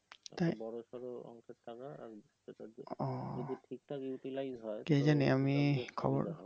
বড়সড় অংকের টাকা যদি ঠিকঠাক